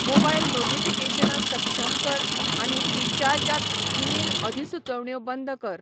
Mobile नोटीफिकेशनां सक्षम कर, आनी ऴ्रीचार्ज त ईमेल अधिसुचोवण्यो बंद कर.